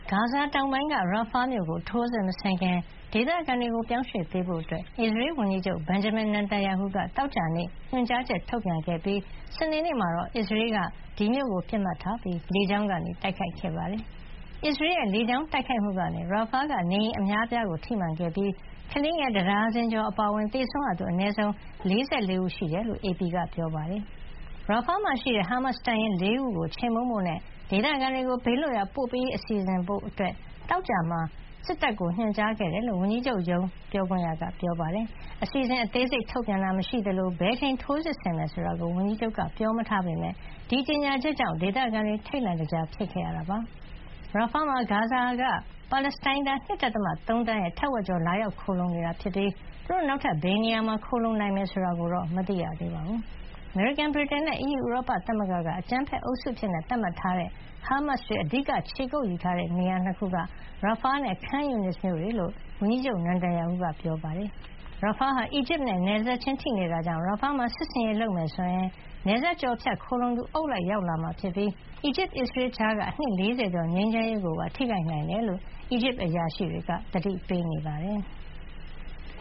ဂါဇာ တောင်ပိုင်းက Rafah မြို့ကို ထိုးစစ်မဆင်ခင် ဒေသခံတွေ ပြောင်းရွှေ့ပေးဖို့ အစ္စရေးဝန်ကြီးချုပ် Benjamin Netanyahu က သောကြာနေ့က ညွှန်ကြားချက် ထုတ်ပြန်ခဲ့ပြီး စနေနေ့မှာတော့ အစ္စရေးတပ်က ဒီမြို့ကို ပစ်မှတ်ထားပြီး လေကြောင်းကနေ တိုက်ခိုက်ခဲ့ပါတယ်။ အစ္စရေးရဲ့ လေကြောင်းတိုက်ခိုက်မှုကြောင့် Rafah က နေအိမ်အများအပြားကို ထိမှန်ခဲ့ပြီး ကလေးငယ် တဒါဇင်ကျော် အပါအဝင် သေဆုံးရသူ အနည်းဆုံး ၄၄ ဦးရှိနေတယ်လို့ AP သတင်းမှာ ဖေါ်ပြထားပါတယ်။ Rafah မှာရှိတဲ့ ဟားမတ်စ် တပ်ရင်း ၄ ခုကို ခြေမှုန်းဖို့နဲ့ ဒေသခံတွေကို ဘေးလွတ်ရာပို့ပေးရေး စီစဉ်ဖို့ သောကြာနေ့မှာ စစ်တပ်ကို ညွှန်ကြားခဲ့တယ်လို့ ဝန်ကြီးချုပ် Natanyahu ရုံးက ပြောပါတယ်။ အစီစဉ် အသေးစိတ် ထုတ်ပြန်တာ မရှိသလို ဘယ်အချိန်ထိုးစစ်ဆင်မယ် ဆိုတာကို ဝန်ကြီးချုပ်က ပြောမထားပေမယ့် ဒီကြေညာချက်ကြောင့် ဒေသခံတွေ ထိတ်လန့်တကြား ဖြစ်ခဲ့ရတာပါ။ Rafah မှာ ဂါဇာက ပါလက်စတိုင်းသား ၂.၃ သန်းရဲ့ထက်ဝက်ကျော် လာရောက်ခိုလှုံနေတာဖြစ်ပြီး သူတို့ နောက်ထပ် ဘယ်နေရာမှာ ခိုလှုံနိုင်မယ်ဆိုတာ မသိရသေးပါဘူး။ အမေရိကန်၊ ဗြိတိန်နဲ့ အီးယူ ဥရောပသမဂ္ဂတို့က အကြမ်းဖက်အုပ်စုအဖြစ် သတ်မှတ်ထားတဲ့ ဟားမတ်စ်တွေ အဓိက ခြေကုပ်ယူထားတဲ့နေရာ ၂ ခုက Rafah နဲ့ Khan Younis မြို့တွေဖြစ်ကြောင်း ဝန်ကြီးချုပ် Netanyahu က ပြောထားတာပါ။ Rafah ဟာ အီဂျစ်နဲ့ နယ်စပ်ချင်း ထိနေတာကြောင့် Rafah မှာ စစ်ဆင်ရေး လုပ်မယ်ဆိုရင် နယ်စပ်ကျော်ဖြတ် ခိုလှုံသူ အုပ်လိုက်ရောက်လာပြီး အီဂျစ်နဲ့ အစ္စရေးကြားက အနှစ် ၄၀ ကျော် ငြိမ်းချမ်းရေးကိုပါ ထိခိုက်နိုင်တယ်လို့ အီဂျစ်အရာရှိတွေက သတိပေးနေပါတယ်။